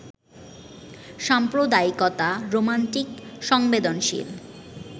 সাম্প্রদায়িকতা romantic সংবেদনশীল